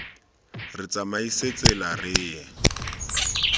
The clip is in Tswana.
re tsamaise tsela re ye